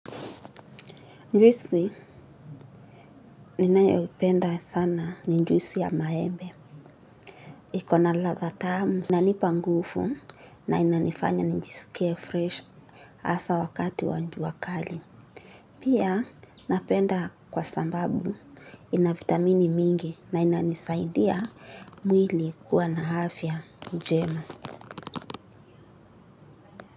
Njwisi, ninayoupenda sana ni njwisi ya maembe. Iko na ladha tamu. Inanipa ngufu na inanifanya nijisikie fresh asa wakati wa njuwa kali. Pia napenda kwa sambabu ina vitamini mingi na inanisaidia mwili kuwa na hafya njema.